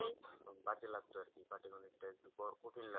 তখন বাজে লাগতো আর কি পাটিগণিতটা একটু কঠিন লাগতো